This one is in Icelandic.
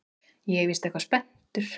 Ég er víst eitthvað spenntur.